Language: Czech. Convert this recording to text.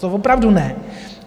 To opravdu ne.